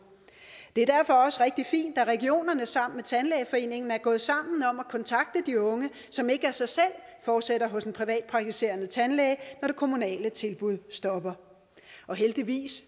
det er derfor også rigtig fint at regionerne sammen tandlægeforeningen er gået sammen om at kontakte de unge som ikke af sig selv fortsætter hos en privatpraktiserende tandlæge når det kommunale tilbud stopper heldigvis